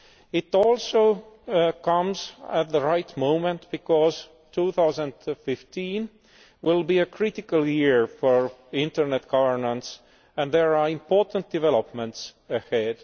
It also comes at the right moment because 2015 will be a critical year for internet governance and there are important developments ahead.